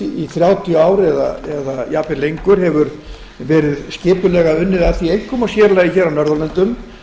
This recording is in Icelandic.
í þrjátíu ár eða jafnvel lengur verið skipulega unnið að því einkum og sér í lagi á norðurlöndum